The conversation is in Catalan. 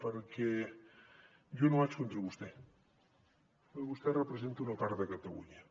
perquè jo no vaig contra vostè perquè vostè representa una part de catalunya